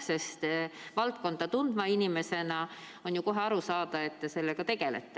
Sest on ju kohe aru saada, et te valdkonda tundva inimesena sellega tegelete.